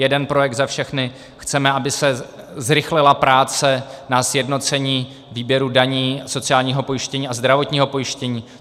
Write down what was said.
Jeden projekt za všechny - chceme, aby se zrychlila práce na sjednocení výběru daní, sociálního pojištění a zdravotního pojištění.